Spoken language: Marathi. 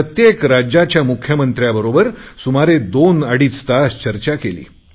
प्रत्येक राज्याच्या मुख्यमंत्र्यांबरोबर सुमारे दोनअडीच तास चर्चा केली